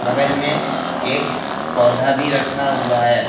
बगल मे एक पौधा भी रखा हुआ है।